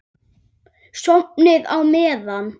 Sofnið á meðan.